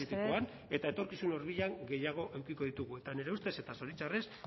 egoera kritikoan amaitu mesedez eta etorkizun hurbilean gehiago edukiko ditugu eta nire ustez eta zoritxarrez